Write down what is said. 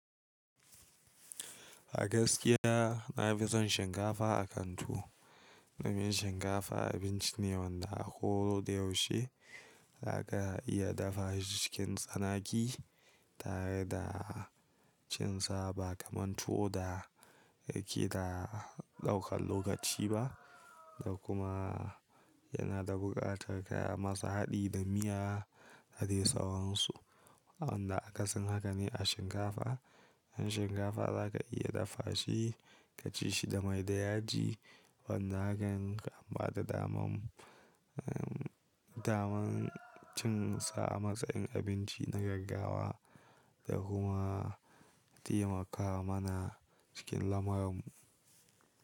A gaskiya na fi son shinkafa a kan tuwo. Domin shinkafa abinci ne wanda a ko da yaushe za ka iya dafa shi cikin tsanaki tare da cin sa ba kamar tuwo da yake da ɗaukan lokaci ba da kuma yana da buƙatar kaya masu haɗi da miya a dai tsawonsu wanda aka sin haka ne a shinkafa. Han shinkafa za ka iya dafa shi ka ci shi da mai da yaji wanda hakan kam ba da daman, daman cin sa a matsayin abinci na gaggawa da kuma taimakawa mana cikin lamarinmu.